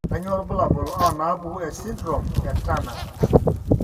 Kainyio irbulabul onaapuku esindirom eTurner?